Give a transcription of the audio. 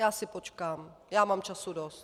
Já si počkám, já mám času dost.